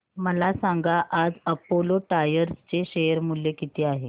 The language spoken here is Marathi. मला सांगा आज अपोलो टायर्स चे शेअर मूल्य किती आहे